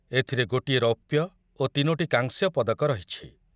ଏଥିରେ ଗୋଟିଏ ରୌପ୍ୟ ଓ ତିନୋଟି କାଂସ୍ୟ ପଦକ ରହିଛି।